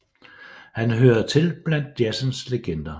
Han hører til blandt jazzens legender